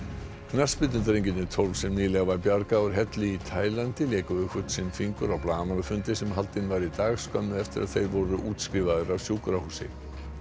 knattspyrnudrengirnir tólf sem nýlega var bjargað úr helli í Taílandi léku við hvern sinn fingur á blaðamannafundi sem haldinn var í dag skömmu eftir að þeir voru útskrifaðir af sjúkrahúsi